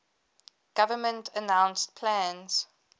government announced plans